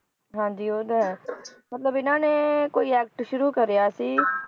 ਹਾਂਜੀ ਉਹ ਤਾਂ ਹੈ ਮਤਲਬ ਇਹਨਾਂ ਨੇ ਕੋਈ act ਸ਼ੂਰੂ ਕਰਿਆ ਸੀ